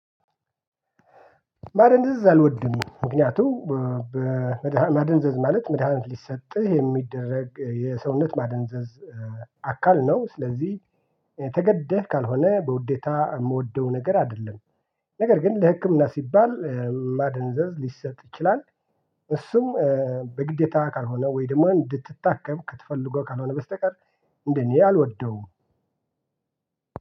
ማደንዘዝ አልወድም ምክንያቱም በመድሃ ማደንዘዝ ማለት መድሃኒት ሊሰጥህ የሚደረግ የሰውነት ማደንዘዝ አካል ነው ስለዚህ ተገደህ ካልሆነ በውዴታ እምወደው ነገር አይደለም። ነገር ግን ለህክምና ሲባል ማደንዘዝ ሊሰጥ ይችላል። እሱም በግዴታ ካልሆነ ወይ ደግማ እንድትታከብ ተፈለጎ ካልሆነ በስተቀር እንደኔ አልወደውም።